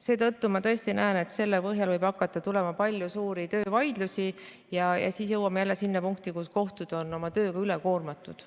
Seetõttu ma tõesti näen, et selle põhjal võib hakata tulema palju suuri töövaidlusi ja siis jõuame jälle sinna punkti, kus kohtud on tööga üle koormatud.